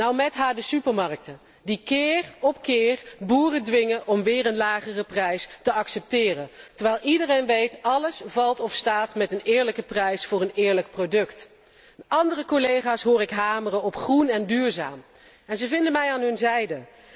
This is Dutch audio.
Nou, mét haar de supermarkten, die keer op keer boeren dwingen om een nog lagere prijs te accepteren, terwijl iedereen weet dat alles valt of staat met een eerlijke prijs voor een eerlijk product. Andere collega's hoor ik hameren op groen en duurzaam. En ze vinden mij aan hun zijde.